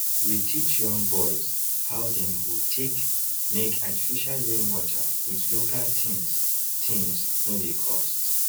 we teach young boys how dem go take make artificial rain water with local thingse thingse no dey cost